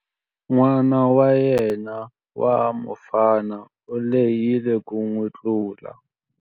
N'wana wa yena wa mufana u lehile ku n'wi tlula.